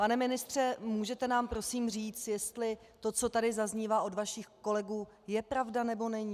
Pane ministře, můžete nám prosím říct, jestli to, co tady zaznívá od vašich kolegů je pravda, nebo není?